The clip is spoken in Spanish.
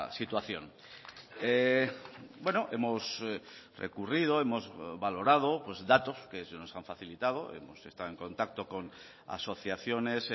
situación hemos recurrido hemos valorado datos que se nos han facilitado hemos estado en contacto con asociaciones